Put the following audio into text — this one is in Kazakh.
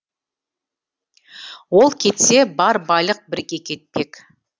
ол кетсе бар байлық бірге кетпек